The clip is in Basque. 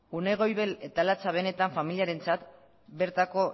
une goibel eta latza benetan familiarentzat bertako